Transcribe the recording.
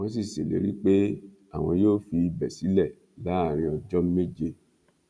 wọn sì ṣèlérí pé àwọn yóò fi ibẹ sílẹ láàrin ọjọ méje